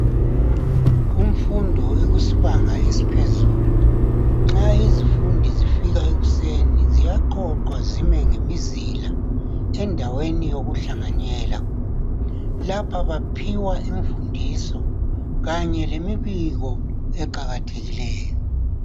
Kumfundo ekusibanga esiphezulu nxa izifundi zifika ekuseni ziyaqoqwa zime ngemizila endaweni yokuhlanganyela lapha baphiwa imfundiso kanye lemibiko eqakathekileyo.